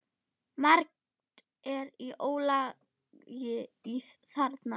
Margt er í ólagi þarna.